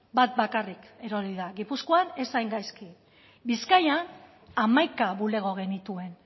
bat bakarrik erori da gipuzkoan ez hain gaizki bizkaian hamaika bulego genituen